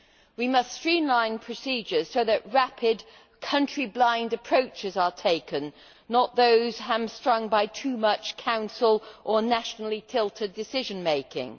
We must streamline procedures so that rapid, country blind approaches are taken, not those hamstrung by too much Council or nationally tilted decision making.